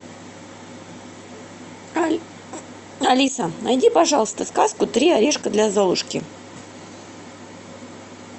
алиса найди пожалуйста сказку три орешка для золушки